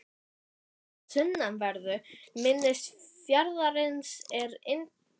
Þarna í sunnanverðu mynni fjarðarins er Ingjaldssandur.